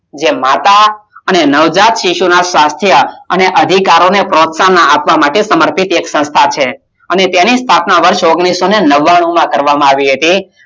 માતા અને નવજાત શિશુનું સ્વસ્થ અને અધિકારીઓને પોત્સાહન આપવા માટે સમર્પ્રિત સંસ્થા છે અને તેની સ્થાપના વર્ષ ઓગણિસઓને નવ્વાણું માં કરવામાં આવી હતી.